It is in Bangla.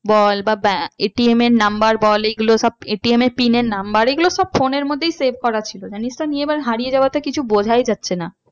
বল বা ATM এর number বল এগুলো সব ATM এ pin এর number এগুলো সব phone এর মধ্যেই save করা ছিল জানিস তো আমি এবার হারিয়ে যাওয়াতে কিছু বোঝাই যাচ্ছে না।